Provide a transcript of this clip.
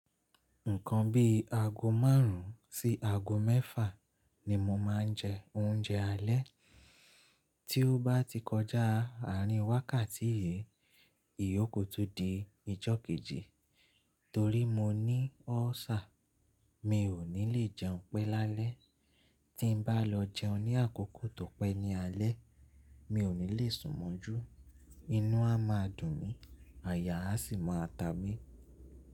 Nǹkan bí ago márùn-ún sí ago mẹ́fà ni mo máa ń jẹ oúnjẹ alẹ́. Tí ó bá ti kọjá àárín wákàtí yìí, ìyó ku tu di ìjọ́ kejì torí mo ní ulcer. Mi ò ní lè jẹun pẹ́ lálẹ́. Tí n bá lọ jẹun ní àkókò tó pẹ́ ní alẹ́, mi ò ní lè sùn mọ́jú, inú a máa dùn mí, àyà a sì máa ta mí.